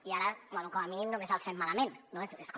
i ara bé com a mínim només el fem malament és com